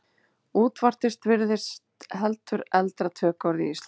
Útvortis virðist heldur eldra tökuorð í íslensku.